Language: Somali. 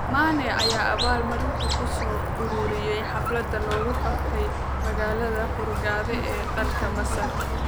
Mane ayaa abaal-marintiisa ku soo ururiyay xaflad lagu qabtay magaalada Hurghada ee dalka Masar.